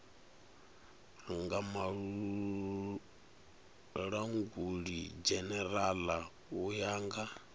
nga mulangulidzhenerala u ya nga